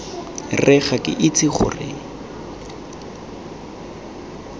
re ga ke itse gore